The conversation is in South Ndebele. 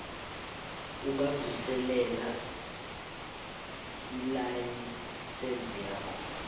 ungavuselela ilayisense yakho